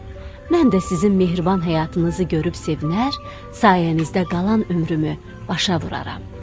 Mən də sizin mehriban həyatınızı görüb sevinər, sayənizdə qalan ömrümü başa vurarram.